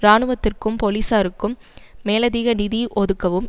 இராணுவத்திற்கும் பொலிசாருக்கும் மேலதிக நிதி ஒதுக்கவும்